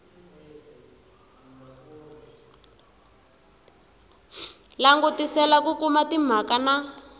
langutisela ku kuma timhaka na